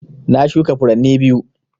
Na shuka furanni biyu